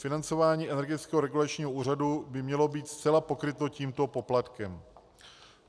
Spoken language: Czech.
Financování Energetického regulačního úřadu by mělo být zcela pokryto tímto poplatkem.